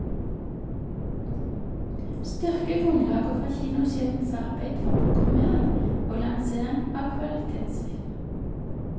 Styrke grunnlaget for kinosjefens arbeid for programmering og lansering av kvalitetsfilm.